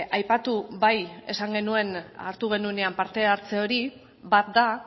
aipatu bai esan genuen hartu genuenean parte hartze hori bat da